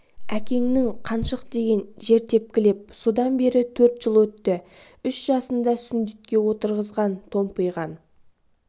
әкеңнің қаншық деген жер тепкілеп содан бері төрт жыл өтті үш жасында сүндетке отырғызған томпиған